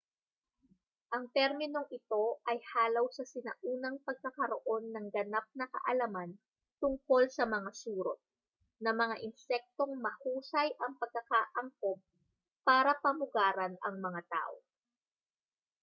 ang terminong ito ay halaw sa sinaunang pagkakaroon ng ganap na kaalaman tungkol sa mga surot na mga insektong mahusay ang pagkakaangkop para pamugaran ang mga tao